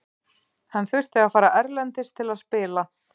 Hann þurfi að fara erlendis til að spila.